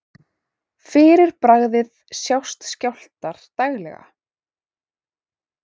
Fyrir bragðið sjást skjálftar daglega.